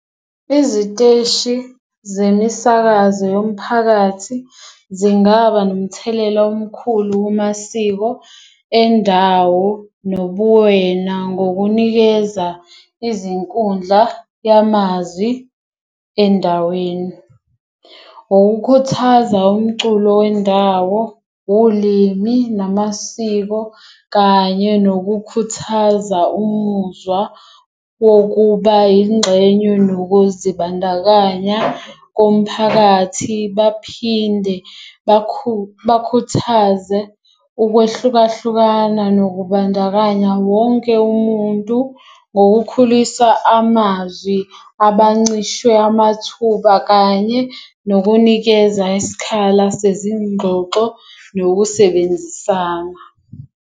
Iziteshi zemisakazo yomphakathi zingaba nomthelela omkhulu kumasiko endawo nobuwena ngokunikeza izinkundla yamazwi endaweni. Ukukhuthaza umculo wendawo, ulimi, namasiko, kanye nokukhuthaza umuzwa wokuba yingxenye nokuzibandakanya komphakathi. Baphinde bakhuthaze ukwehlukahlukana nokubandakanya wonke umuntu ngokukhulisa amazwi abancishwe amathuba kanye nokunikeza isikhala sezigxoxo nokusebenzisana.